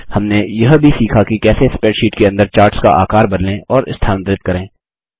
हमने यह भी सीखा कि कैसे स्प्रैडशीट के अंदर चार्ट्स का आकार बदलें और स्थानांतरित करें